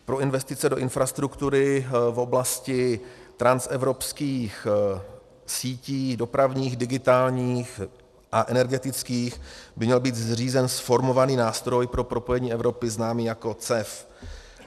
Pro investice do infrastruktury v oblasti transevropských sítí, dopravních, digitálních a energetických by měl být zřízen zformovaný Nástroj pro propojení Evropy, známý jako CEF.